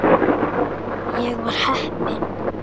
Ég var heppin.